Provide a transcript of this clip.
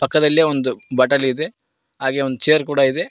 ಪಕ್ಕದಲ್ಲಿ ಒಂದು ಬಟಲ್ ಇದೆ ಹಾಗೆ ಒಂದ್ ಚೇರ್ ಕೂಡ ಇದೆ.